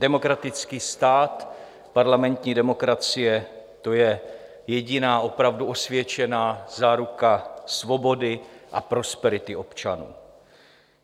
Demokratický stát, parlamentní demokracie, to je jediná opravdu osvědčená záruka svobody a prosperity občanů.